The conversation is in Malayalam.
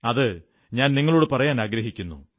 അതു ഞാൻ നിങ്ങളോടു പറയാനാഗ്രഹിക്കുന്നു